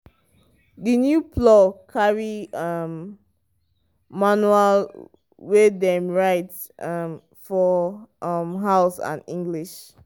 the new plow carry um manual wey dem write um for um house and english.